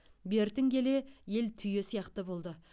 бертін келе ел түйе сияқты болды